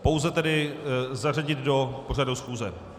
Pouze tedy zařadit do pořadu schůze.